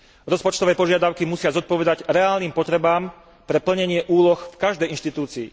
Rozpočtové požiadavky musia zodpovedať reálnym potrebám pre plnenie úloh v každej inštitúcii.